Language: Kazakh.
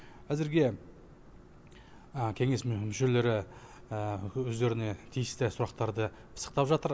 әзірге кеңес мүшелері өздеріне тиісті сұрақтарды пысықтап жатыр